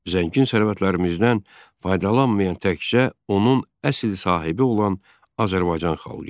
Zəngin sərvətlərimizdən faydalanmayan təkcə onun əsl sahibi olan Azərbaycan xalqı idi.